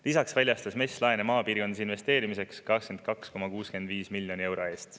Lisaks väljastas MES laene maapiirkonnas investeerimiseks 82,65 miljoni euro eest.